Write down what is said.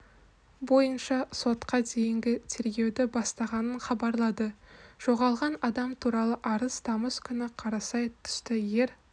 бойынша сотқа дейінгі тергеуді бастағанын хабарлады жоғалған адам туралы арыз тамыз күні қарасай түсті ер